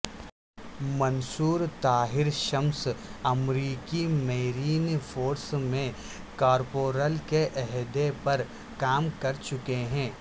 منصور طاہر شمس امریکی marine force میں corporal کے عہدے پر کام کر چکے ہیں